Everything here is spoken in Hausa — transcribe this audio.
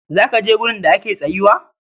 zaka je wurin da ake tsayuwa?